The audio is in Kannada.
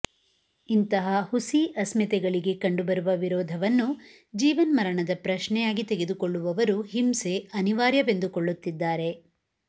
ಇಂತಹ ಹುಸಿ ಅಸ್ಮಿತೆಗಳಿಗೆ ಕಂಡುಬರುವ ವಿರೋಧವನ್ನು ಜೀವನ್ಮರಣದ ಪ್ರಶ್ನೆಯಾಗಿ ತೆಗೆದುಕೊಳ್ಳುವವರು ಹಿಂಸೆ ಅನಿವಾರ್ಯವೆಂದುಕೊಳ್ಳುತ್ತಿದ್ದಾರೆ